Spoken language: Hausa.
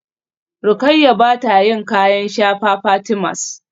Rukayyah bata yin kayan shafa Fatimas